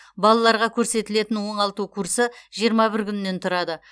балаларға көрсетілетін оңалту курсы жиырма бір күннен тұрады